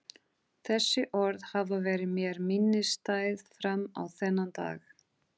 Þessi orð hafa verið mér minnisstæð fram á þennan dag.